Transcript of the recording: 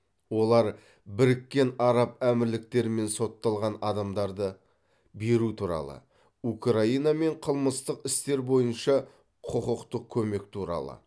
олар біріккен араб әмірліктерімен сотталған адамдарды беру туралы украинамен қылмыстық істер бойынша құқықтық көмек туралы